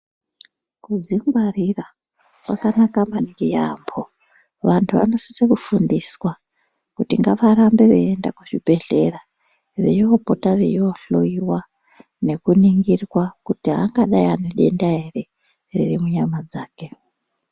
Kuzvingwarira kwakanaka maningi yambo vanhu vanosisa kufundiswa kuti ngavarambe vachienda kuzvibhedhlera veimbopota veihloiwa nekuningirwa kuti hangadai ane denda ere riri munyama dzake.